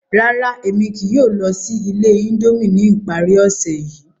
Rárá, Emi kii yóò lọ si ile Indomie ni ipari ose yii.